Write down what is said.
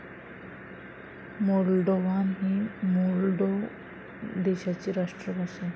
Moldovan ही Moldova देशाची राष्ट्रभाषा आहे.